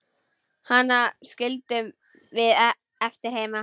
Hana skildum við eftir heima.